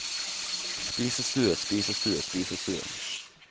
spisestue spisestue spisestue